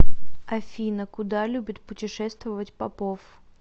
афина куда любит путешествовать попов